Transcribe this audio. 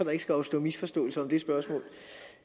ikke skal opstå misforståelser om det spørgsmål